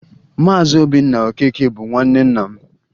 Maazị Obinna Okeke bụ nwanne nna m